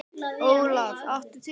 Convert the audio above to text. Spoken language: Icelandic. Olaf, áttu tyggjó?